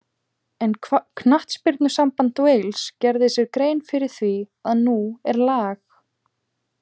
En knattspyrnusamband Wales gerir sér grein fyrir því að nú er lag.